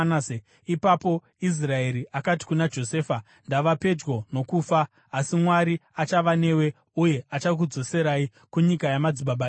Ipapo Israeri akati kuna Josefa, “Ndava pedyo nokufa, asi Mwari achava newe uye achakudzoserai kunyika yamadzibaba enyu.